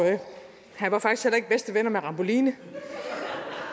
han var faktisk heller ikke bedste ven med ramboline